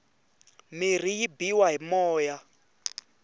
mirhi yi biwa hi moya